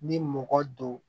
Ni mɔgɔ don